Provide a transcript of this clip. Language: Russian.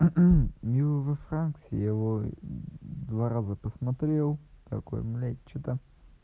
у-у нью ве франкс его два раза посмотрел такой блять что-то